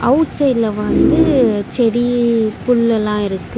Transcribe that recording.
Out சைட்ல வந்து செடி புள்லல்லா இருக்கு.